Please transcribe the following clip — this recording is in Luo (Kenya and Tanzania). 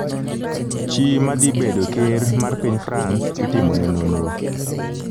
Chi ma dhi bedo ker mar piny France itimo ne nonro